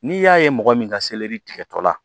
N'i y'a ye mɔgɔ min ka tigɛtɔ la